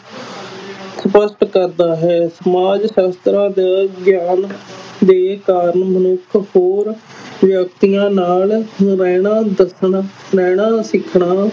ਸਪਸ਼ਟ ਕਰਦਾ ਹੈ ਸਮਾਜ ਸ਼ਾਸਤਰਾਂ ਦਾ ਗਿਆਨ ਦੇ ਕਾਰਨ ਮਨੁੱਖ ਹੋਰ ਵਿਅਕਤੀਆਂ ਨਾਲ ਰਹਿਣਾ ਦੱਸਣ ਰਹਿਣਾ ਸਿੱਖਣਾ